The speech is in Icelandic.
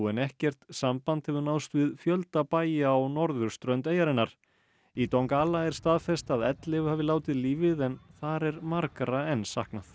en ekkert samband hefur náðst við fjölda bæja á norðurströnd eyjarinnar í er staðfest að ellefu hafi látið lífið en þar er margra enn saknað